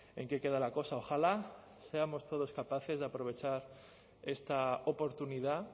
en qué queda la cosa ojalá seamos todos capaces de aprovechar esta oportunidad